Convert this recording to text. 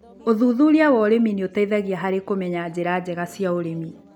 ũthuthuria wa ũrĩmi nĩũteithagia harĩ kũmenya njĩra njega cia ũrĩmi.